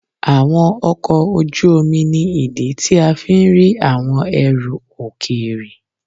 Àwọn ọkọ̀ ojú omi ni ìdí tí a fi ń rí àwọn ẹrù òkèèrè.